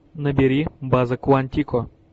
набери база куантико